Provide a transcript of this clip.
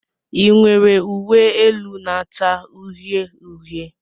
Ị nwere uwe elu na-acha uhie uhie?